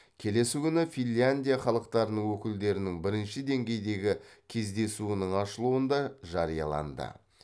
келесі күні финляндия халықтарының өкілдерінің бірінші деңгейдегі кездесуінің ашылуында жарияланды